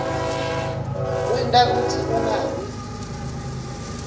kwenta kutsi ungabi